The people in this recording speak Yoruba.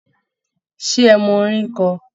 Ṣé ẹ mọ orin kọ?